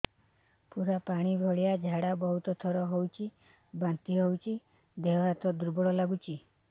ପୁରା ପାଣି ଭଳିଆ ଝାଡା ବହୁତ ଥର ହଉଛି ବାନ୍ତି ହଉଚି ଦେହ ହାତ ଦୁର୍ବଳ ଲାଗୁଚି